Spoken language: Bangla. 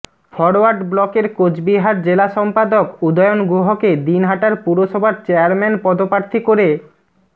ফরওয়ার্ড ব্লকের কোচবিহার জেলা সম্পাদক উদয়ন গুহকে দিনহাটার পুরসভার চেয়ারম্যান পদপ্রার্থী করে